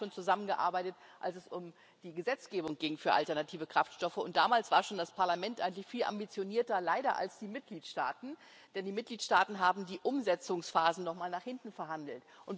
Wir haben beide schon zusammengearbeitet, als es um die Gesetzgebung für alternative Kraftstoffe ging, und schon damals war das Parlament eigentlich viel ambitionierter leider als die Mitgliedstaaten, denn die Mitgliedstaaten haben die Umsetzungsphase nochmal nach hinten verhandelt.